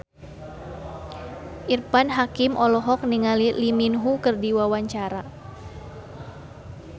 Irfan Hakim olohok ningali Lee Min Ho keur diwawancara